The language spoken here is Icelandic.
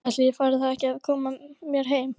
Ætli ég fari þá ekki að koma mér heim.